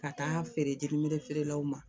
Ka taa feere jeli mele feerelaw ma